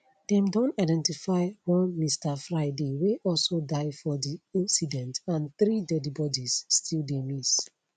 dem don identify one mr friday wey also die for di incident and three deadi bodies still dey miss